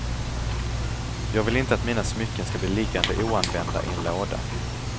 Jag vill inte att mina smycken skall bli liggande oanvända i en låda.